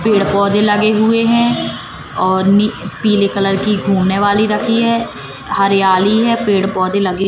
पेड़ पौधे लगे हुए हैं और नी पीले कलर की घूमने वाली रखी है हरियाली है पेड़ पौधे लगे--